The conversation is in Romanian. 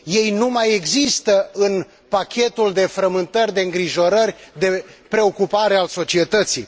Ei nu mai există în pachetul de frământări, de îngrijorări, de preocupare al societății.